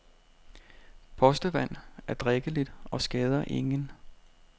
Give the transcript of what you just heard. Postevand er drikkeligt og skader ingen.